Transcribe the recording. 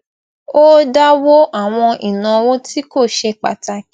ó dáwó àwọn ìnáwó tí kò ṣe pàtàkì